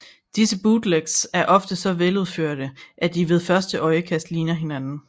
Disse bootlegs er ofte så veludførte at de ved første øjekast ligner originalen